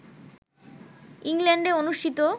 ইংল্যান্ডে অনুষ্ঠিত